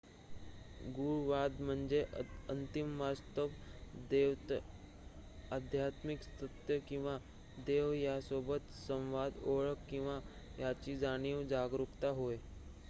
गूढवाद म्हणजे अंतिम वास्तव देवत्व आध्यात्मिक सत्य किंवा देव यासोबत संवाद ओळख किंवा याची जाणीव जागरूकता होय